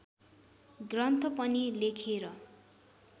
ग्रन्थ पनि लेखेर